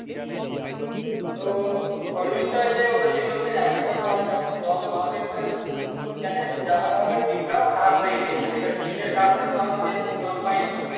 তো ফলনটা যে হয়েছিল সে একই ব্যাপার যখন জল আমাদের তো জানিস যা হবে হবে deep টাও খারাপ হয়ে গিয়েছে এবার deep এর কারণে তো আমরা সেরকম জল পাইনি